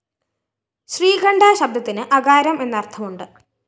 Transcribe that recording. ശ്രീകണ്ഠശബ്ദത്തിന്‌ അകാരം എന്ന്‌ അര്‍ഥമുണ്ട്‌